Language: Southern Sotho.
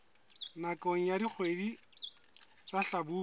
nakong ya dikgwedi tsa hlabula